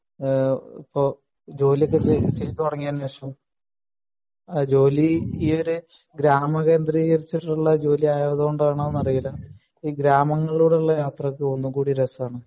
ഈഹ് ഇപ്പൊ ജോലിയൊക്കെ ചെയ്തു തുടങ്ങിയതിന് ശേഷം അഹ് ജോലി ഈയൊരു ഗ്രാമ കേന്ദ്രികരിച്ചിട്ടുള്ള ജോലി ആയതു കൊണ്ടാണോന്ന് അറിയില്ല ഈ ഗ്രാമങ്ങളിലൂടെ ഉള്ള യാത്രക്ക് ഒന്നുകൂടി രസാണ്